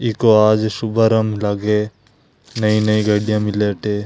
इको आज सुबहराम लाग नई-नई गढ़िया मिले अठ।